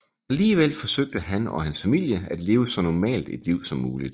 Alligevel forsøgte han og hans familie at leve så normalt et liv som muligt